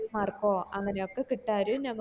mark ഓ അങ്ങനൊക്കെ കിട്ടാരും ഞമ